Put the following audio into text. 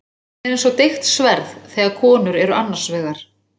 Hún er eins og deigt sverð þegar konur eru annars vegar.